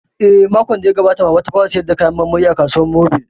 Eh, makon da ya gabata Mamana ta fara sayar da kayan marmari a kasuwar mobil